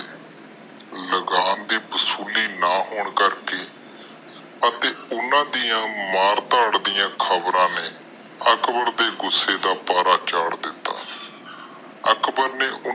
ਲਗਾਮ ਦੇ ਵਸੂਲੀ ਨਾ ਹੋਣ ਕਰਕੇ ਅਤੇ ਓਹਨਾ ਡਾ ਮਾਰ ਤੋਰ ਡਾ ਖ਼ਬਰ ਨੇ ਅਕਬਰ ਦੇ ਗੁਸੇ ਦਾ ਬਾਹਰ ਚੜ੍ਹ ਦਿਤਾ ਅਕਬਰ ਨੇ ਓਹਨਾ ਦੋਨੋ ਦੇਇ